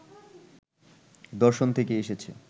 দর্শন থেকেই এসেছে।